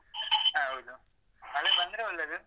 ಹೌದು ಮಳೆ ಬಂದ್ರೆ ಒಳ್ಳೇದು.